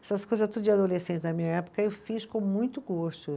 Essas coisas tudo de adolescente na minha época eu fiz com muito gosto.